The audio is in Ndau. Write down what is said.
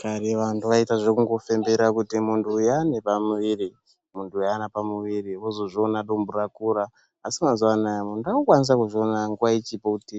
Kare vantu vaita zvekungofembera kuti muntu uyu une pamuviri munhu uyu Hana pamuviri vozozviona Kuti dumbu rakura asi mazuva anawa muntu akuzviona nguwa ichipo kuti